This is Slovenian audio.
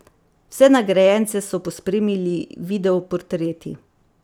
Vse nagrajence so pospremili video portreti.